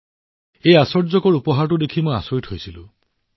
এই আশ্চৰ্যকৰ উপহাৰটো দেখি মই আচৰিত হৈছিলো